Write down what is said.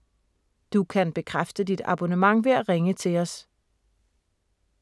Du kan bekræfte dit abonnement ved at ringe til os: